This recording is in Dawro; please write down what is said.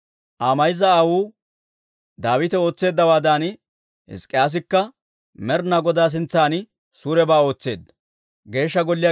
Aa mayza aawuu Daawite ootseeddawaadan, Hizk'k'iyaasikka Med'inaa Godaa sintsan suurebaa ootseedda.